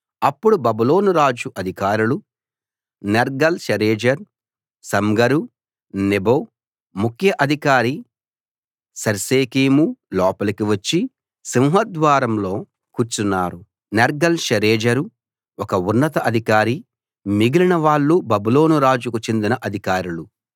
అప్పుడు బబులోను రాజు అధికారులు నేర్గల్‌ షరేజరు సమ్గర్ నెబో ముఖ్య అధికారి శర్సెకీము లోపలికి వచ్చి సింహద్వారంలో కూర్చున్నారు నేర్గల్‌ షరేజరు ఒక ఉన్నత అధికారి మిగిలిన వాళ్ళు బబులోను రాజుకు చెందిన అధికారులు